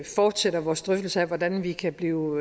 fortsætter vores drøftelser af hvordan vi kan blive